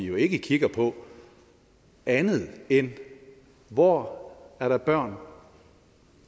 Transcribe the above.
jo ikke kigger på andet end hvor der er børn